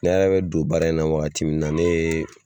Ne yɛrɛ bɛ don baara in na wagati min na, ne ye